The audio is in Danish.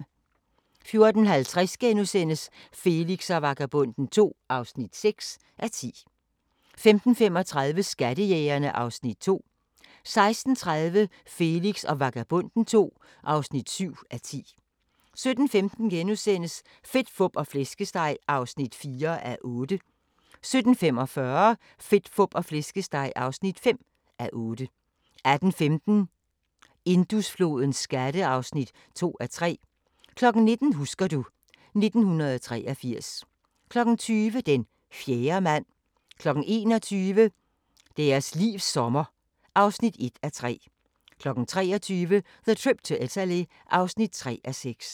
14:50: Felix og Vagabonden II (6:10)* 15:35: Skattejægerne (Afs. 2) 16:30: Felix og Vagabonden II (7:10) 17:15: Fedt, Fup og Flæskesteg (4:8)* 17:45: Fedt, Fup og Flæskesteg (5:8) 18:15: Indusflodens skatte (2:3) 19:00: Husker du... 1983 20:00: Den fjerde mand 21:00: Deres livs sommer (1:3) 23:00: The Trip to Italy (3:6)